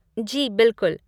जी बिलकुल।